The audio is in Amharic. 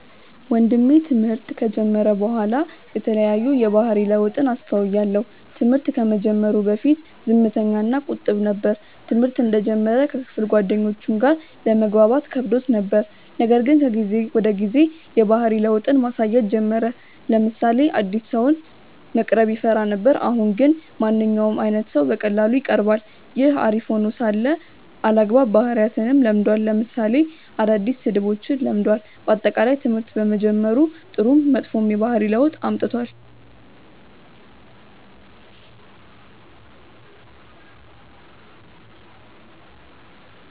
ወንድሜ ትምህርት ከጀመረ በኋላ የተለያዩ የባህሪ ለውጥን አስተውያለው። ትምህርት ከመጀመሩ በፊት ዝምተኛ እና ቁጥብ ነበር። ትምህርተ እንደጀመረ ከክፍል ጓደኞቹም ጋር ለመግባባት ከብዶት ነበር :ነገር ግን ከጊዜ ወደ ጊዜ የባህሪ ለውጥን ማሳየት ጀመረ : ለምሳሌ አዲስ ሰውን መቅረብ ይፈራ ነበር አሁን ግን ማንኛውም አይነት ሰው በቀላሉ ይቀርባል። ይህ አሪፍ ሄኖ ሳለ አልአግባብ ባህሪያትንም ለምዷል ለምሳሌ አዳዲስ ስድቦችን ለምዷል። በአጠቃላይ ትምህርት በመጀመሩ ጥሩም መጥፎም የባህሪ ለውጥ አምጥቷል።